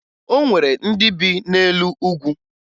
O nwere ndị bi n'elu ugwu